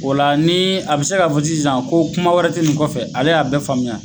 O la la ni a bɛ se ka fɔ sisan ko kuma wɛrɛ tɛ nin kɔfɛ ale y'a bɛɛ faamuya.